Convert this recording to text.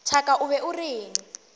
thaka o be o reng